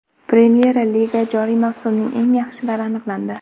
Premyer Liga joriy mavsumining eng yaxshilari aniqlandi.